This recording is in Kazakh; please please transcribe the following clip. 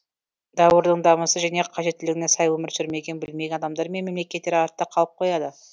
дәуірдің дамысы және қажеттілігіне сай өмір сүрмеген білмеген адамдар мен мемлекеттер артта қалып қояды